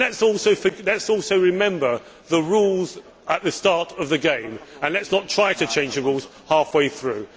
Let us also remember the rules at the start of the game and let us not try to change the rules half way through.